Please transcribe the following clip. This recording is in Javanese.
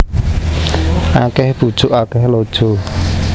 Akeh bujuk akeh lojo